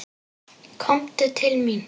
Komdu til mín!